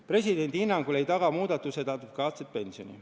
Presidendi hinnangul ei taga muudatused adekvaatset pensioni.